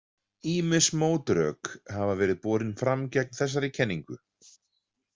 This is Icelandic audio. Ýmis mótrök hafa verið borin fram gegn þessari kenningu.